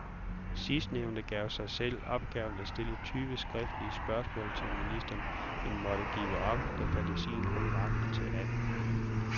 Sidstnævnte gav sig selv opgaven at stille tyve skriftlige spørgsmål til ministeren, men måtte give op, da fantasien kun rakte til atten.